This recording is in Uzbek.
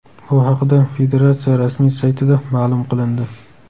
Bu haqida federatsiya rasmiy saytida ma’lum qilindi .